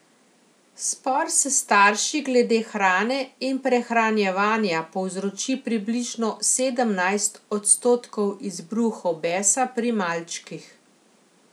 Spor s starši glede hrane in prehranjevanja povzroči približno sedemnajst odstotkov izbruhov besa pri malčkih.